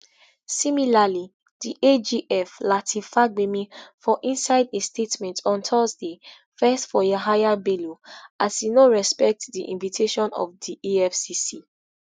similarly di agf lateef fagbemi for inside a statement on thursday vex for yahaya bello as e no respect di invitation of di efcc